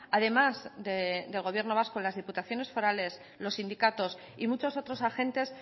además del gobierno vasco las diputaciones forales los sindicatos y muchos otros agentes